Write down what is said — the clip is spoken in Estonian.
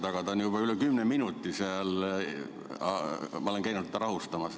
Ta on juba üle kümne minuti seal olnud ja ma olen käinud teda rahustamas.